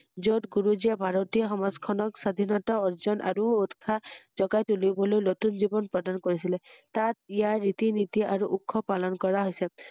য‘ত গুৰুজীয়ে ভাৰতীয় সমাজখনক স্বাধীনতা অৰ্জন আৰু উৎসাহ জগাই তুলিবলৈ নতুন জীৱন প্ৰদান কৰিছিলে ৷তাত ইয়াৰ ৰীতি নীতি আৰু উৎসৱ পালন কৰা হৈছে৷